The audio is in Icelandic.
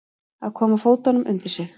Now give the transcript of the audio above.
Að koma fótunum undir sig